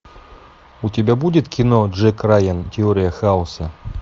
у тебя будет кино джек райан теория хаоса